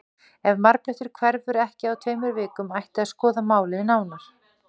Ef marblettur hverfur ekki á tveimur vikum ætti að skoða málið nánar.